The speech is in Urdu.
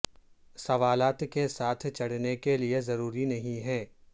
سوالات کے ساتھ چڑھنے کے لئے ضروری نہیں ہے